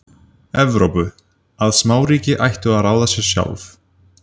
Evrópu, að smáríki ættu að ráða sér sjálf.